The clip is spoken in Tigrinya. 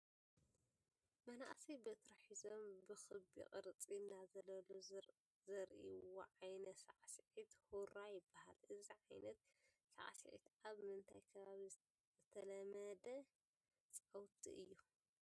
መናእሰይ በትሪ ሒዞም ብኽቢ ቅርፂ እናዘለሉ ዘርእይዎ ዓይነት ሳዕስዒት ሁራ ይበሃል፡፡ እዚ ዓይነት ሳዕስዒት ኣብ ምንታይ ከባቢ ዝተለመዳ ፃውቲ እዩ?